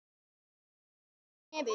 Sýgur upp í nefið.